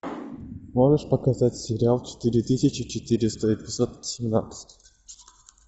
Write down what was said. можешь показать сериал четыре тысячи четыреста эпизод семнадцать